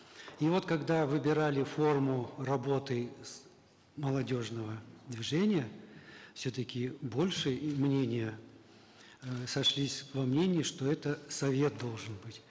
и вот когда выбирали форму работы с молодежного движения все таки больше мнения э сошлись во мнении что это совет должен быть